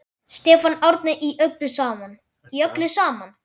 Stefán Árni: Í öllu saman?